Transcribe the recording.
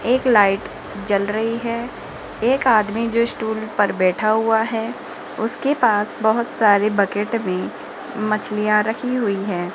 एक लाइट जल रही है एक आदमी जो स्टूल पर बैठा हुआ है उसके पास बहुत सारे बकेट भी मछलियां रखी हुईं हैं।